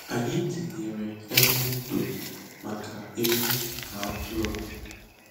Anyị tinyere ebe ndo maka ewu na atụrụ.